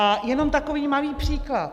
A jenom takový malý příklad.